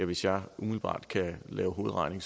hvis jeg umiddelbart kan lave hovedregning